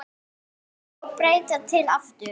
Reka og breyta til aftur?